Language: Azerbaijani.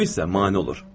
Bu isə mane olur.